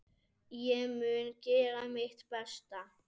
Ég mun gera mitt besta.